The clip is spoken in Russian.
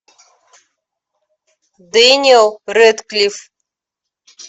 дэниел рэдклифф